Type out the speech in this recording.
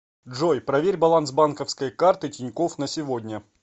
джой проверь баланс банковской карты тинькофф на сегодня